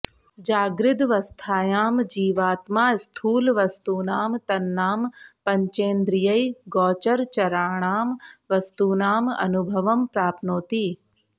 जागृदवस्थायां जीवात्मा स्थूलवस्तूनां तन्नाम पञ्चेन्द्रियैः गोचरचराणां वस्तूनाम् अनुभवं प्राप्नोति